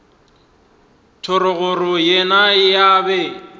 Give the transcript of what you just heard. thogorogo le yena o be